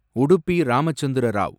Udupi Ramachandra Rao